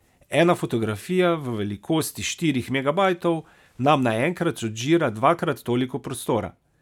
Ena fotografija v velikosti štirih megabajtov nam naenkrat odžira dvakrat toliko prostora.